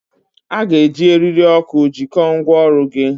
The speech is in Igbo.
A ga-eji eriri oku jikọọ ngwaọrụ gị.